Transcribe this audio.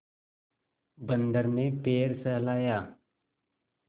बंदर ने पैर सहलाया